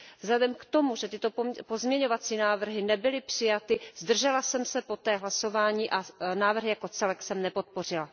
Vzhledem k tomu, že tyto pozměňovací návrhy nebyly přijaty, zdržela jsem se poté hlasování a návrh jako celek jsem nepodpořila.